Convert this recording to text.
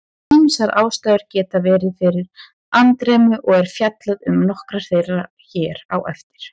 Ýmsar ástæður geta verið fyrir andremmu og er fjallað um nokkrar þeirra hér á eftir.